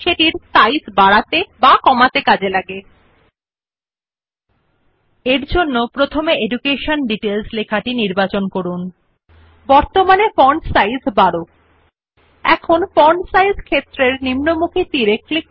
নাম সুপারিশ font size বা বৃদ্ধি হয় নির্বাচিত লেখার আকার হ্রাস ব্যবহৃত বা নতুন টেক্সট যা আপনি টাইপ ইচ্ছুক ফন্টের আকার নির্ধারণ করা হয় As the name suggests font size is used to increase or decrease the size of either the selected text or sets the size of the font of the new text which you wish to type